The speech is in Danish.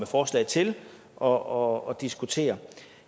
forslag til og og diskutere